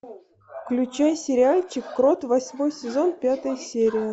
включай сериальчик крот восьмой сезон пятая серия